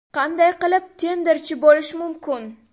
Qanday qilib tenderchi bo‘lish mumkin?